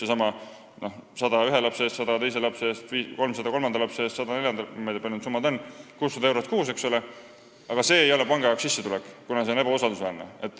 Ütleme, 100 ühe lapse eest, 100 teise lapse eest, 300 kolmanda lapse eest, 100 neljanda eest – ma ei tea, kui suured need summad on – ehk 600 eurot kuus ei ole panga jaoks sissetulek, kuna see on ebausaldusväärne.